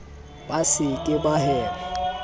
ba se ke ba hema